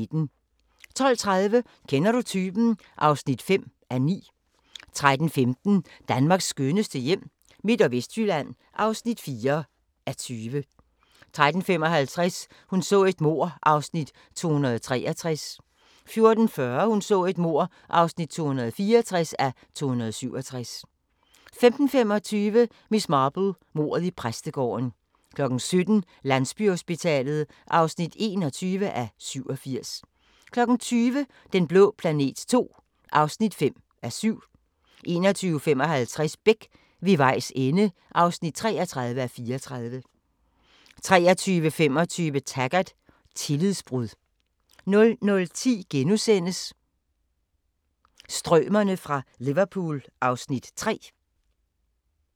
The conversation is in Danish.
12:30: Kender du typen? (5:9) 13:15: Danmarks skønneste hjem – Midt- og Vestjylland (4:20) 13:55: Hun så et mord (263:267) 14:40: Hun så et mord (264:267) 15:25: Miss Marple: Mordet i præstegården 17:00: Landsbyhospitalet (21:87) 20:00: Den blå planet II (5:7) 21:55: Beck: Ved vejs ende (33:34) 23:25: Taggart: Tillidsbrud 00:10: Strømerne fra Liverpool (Afs. 3)*